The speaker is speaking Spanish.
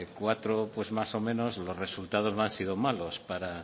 cuatro pues más o menos los resultados no han sido malos